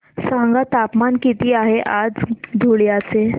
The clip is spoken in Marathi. सांगा तापमान किती आहे आज धुळ्याचे